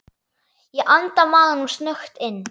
Ég anda maganum snöggt inn.